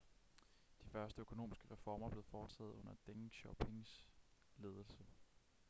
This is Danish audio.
de første økonomiske reformer blev foretaget under deng xiaopings ledelse